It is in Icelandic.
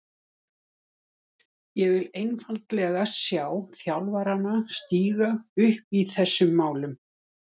Ég vil einfaldlega sjá þjálfarana stíga upp í þessum málum.